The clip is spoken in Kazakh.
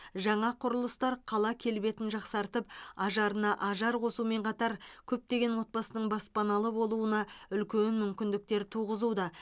жаңа құрылыстар қала келбетін жақсартып ажарына ажар қосумен қатар көптеген отбасының баспаналы болуына үлкен мүмкіндіктер туғызуда